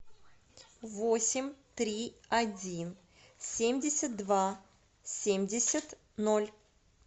восемь три один семьдесят два семьдесят ноль